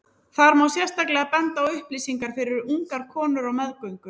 Þar má sérstaklega benda á upplýsingar fyrir ungar konur á meðgöngu.